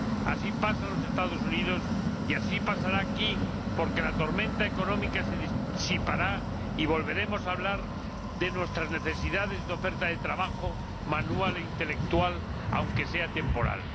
Así pasa en los Estados Unidos y así pasará aquí porque la tormenta económica se disipará y volveremos a hablar de nuestras necesidades de mano de obra, manual e intelectual, aunque sea temporal.